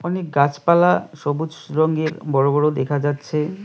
অনেক গাছপালা সবুজ রঙের বড়ো বড়ো দেখা যাচ্ছে।